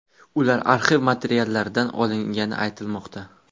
Ular arxiv materiallaridan olingani aytilmoqda.